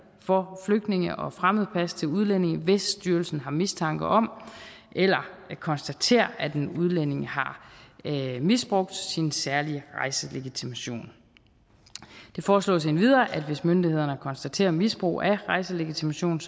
for flygtninge og fremmedpas til udlændinge hvis styrelsen har mistanke om eller konstaterer at en udlænding har misbrugt sin særlige rejselegitimation det foreslås endvidere at det hvis myndighederne konstaterer misbrug af rejselegitimation